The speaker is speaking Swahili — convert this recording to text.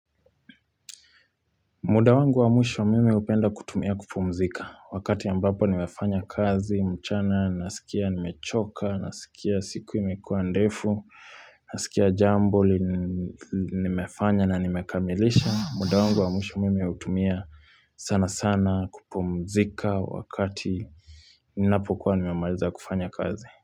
Muda wangu wa mwisho mimi hupenda kutumia kupumzika wakati ambapo nimefanya kazi, mchana, nasikia nimechoka, nasikia siku imekuwa ndefu, nasikia jambo li, nimefanya na nimekamilisha. Muda wangu wa mwisho mimi hutumia sana sana kupumzika wakati ninapokuwa nimemaliza kufanya kazi.